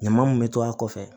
Ɲama mun be to a kɔfɛ